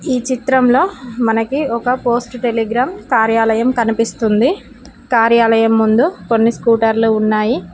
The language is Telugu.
ఈ చిత్రంలో మనకి ఒక పోస్ట్ టెలిగ్రామ్ కార్యాలయం కనిపిస్తుంది కార్యాలయం ముందు కొన్ని స్కూటర్లు ఉన్నాయి.